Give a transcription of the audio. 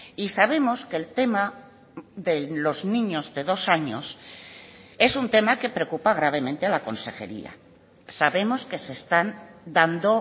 y sabemos que el tema de los niños de dos años es un tema que preocupa gravemente a la consejería sabemos que se están dando